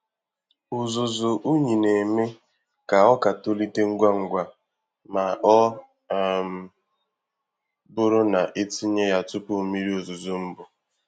Uzuzu unyi na-eme ka ọka tolite ngwa ngwa ma ọ um bụrụ na etinye ya tupu mmiri ozuzo mbụ.